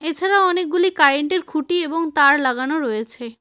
এছাড়া অনেকগুলি কারেন্ট -এর খুঁটি এবং তার লাগানো রয়েছে।